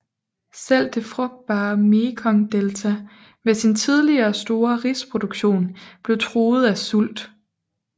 Selv det frugtbare Mekongdelta med sin tidligere store risproduktion blev truet af sult